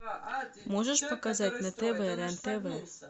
можешь показать на тв рен тв